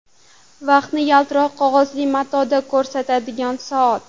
Vaqtni yaltiroq qog‘ozli matoda ko‘rsatadigan soat.